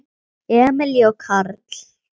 Emilía og Karl.